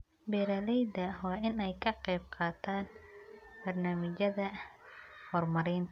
Beeralayda waa in ay ka qayb qaataan barnaamijyada horumarinta.